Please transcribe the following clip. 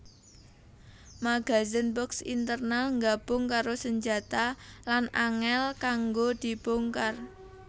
Magazen box internal nggabung karo senjata lan angel kanggo dibongkar